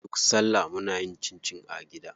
Duk salla muna yin cincin a gida.